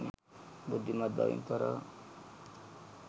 බුද්ධිමත් බවින් තොරව